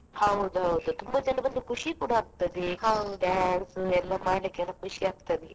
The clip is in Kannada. ಹೌದ್ ಹೌದು ತುಂಬಾ ಜನ ಬಂದ್ರೆ ಖುಷಿ ಕೂಡ ಎಲ್ಲ ಮಾಡ್ಲಿಕ್ಕೆಲ್ಲ ಖುಷಿ ಆಗ್ತದೆ ಹಾ.